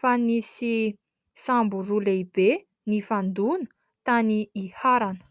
fa nisy sambo roa lehibe nifandona tany Iharana.